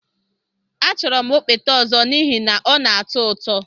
Achọrọ m okpete ọzọ n'ihi na ọ na-atọ ụtọ